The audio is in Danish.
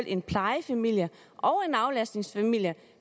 en plejefamilie og en aflastningsfamilie